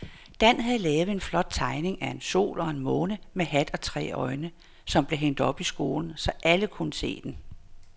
Dan havde lavet en flot tegning af en sol og en måne med hat og tre øjne, som blev hængt op i skolen, så alle kunne se den.